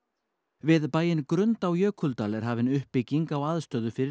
við bæinn Grund á Jökuldal er hafin uppbygging á aðstöðu fyrir